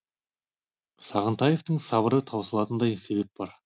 сағынтаевтың сабыры таусылатындай себеп бар